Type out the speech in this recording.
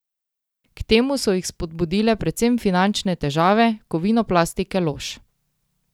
K temu so jih spodbudile predvsem finančne težave Kovinoplastike Lož.